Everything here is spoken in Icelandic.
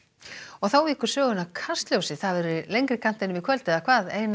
þá víkur sögunni að Kastljósi það verður í lengri kantinum í kvöld eða hvað Einar